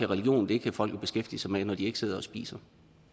religion kan folk jo så beskæftige sig med når de ikke sidder og spiser